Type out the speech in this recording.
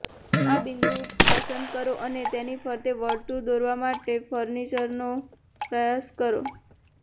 આ બિંદુ પસંદ કરો અને તેની ફરતે વર્તુળ દોરવા માટે ફર્નિચરનો પ્રયાસ કરો